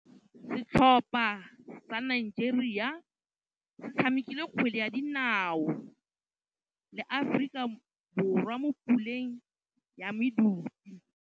Setlhopha sa Nigeria se tshamekile kgwele ya dinaô le Aforika Borwa mo puleng ya medupe.